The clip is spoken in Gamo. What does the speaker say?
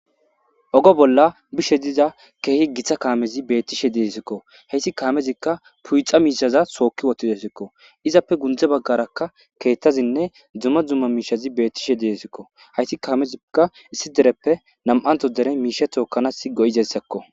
Ogo bolla bishe diza keehi giththa kaamezi beettishe deesikko heyssi kaamezikka puyxa miishaza sookki wottidesikko izappe gundze baggarakka keettazinne dumma dumma miishazi bettishe deesikko hayti kaamezikka issi dereppe nam7anto dere miishe tookanas go7izessekko.